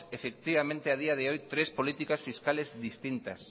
a día de hoy tres políticas fiscales distintas